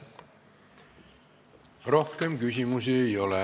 Rohkem küsimusi ei ole.